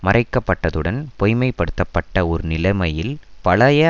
மறைக்கப்பட்டதுடன் பொய்மைப்படுத்தப்பட்ட ஒரு நிலமையில் பழைய